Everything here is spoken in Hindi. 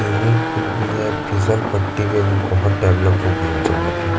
स्विमिंग पूल भी है फिसलपट्टी भी है अभी बोहोत डेवलप हो गई है वो जगह भी --